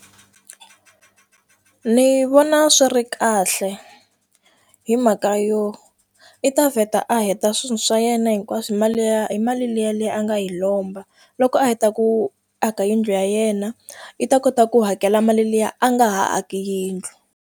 Ni vona swi ri kahle hi mhaka yo i ta vheta a heta swilo swa yena hinkwaswo mali liya hi mali liya liya a nga yi lomba loko a heta ku aka yindlu ya yena i ta kota ku hakela mali liya a nga ha aki yindlu.